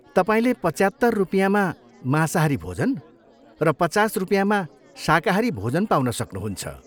तपाईँले पच्यात्तर रुपियाँमा मांसाहारी भोजन र पचास रुपियाँमा शाकाहारी भोजन पाउन सक्नुहुन्छ।